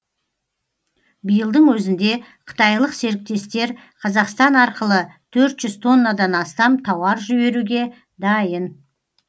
биылдың өзінде қытайлық серіктестер қазақстан арқылы төрт жүз тоннадан астам тауар жіберуге дайын